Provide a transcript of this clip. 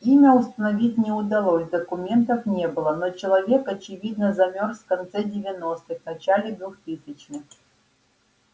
имя установить не удалось документов не было но человек очевидно замёрз в конце девяностых начале двухтысячных